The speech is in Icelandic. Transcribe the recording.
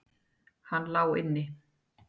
Hann lá inni!